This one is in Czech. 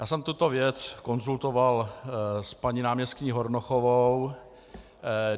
Já jsem tuto věc konzultoval s paní náměstkyní Hornochovou.